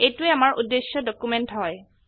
এইটোৱে আমাৰ উদ্দেশ্য ডকিউমেন্ট হয়